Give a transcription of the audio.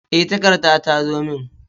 E, takarda ta zo min.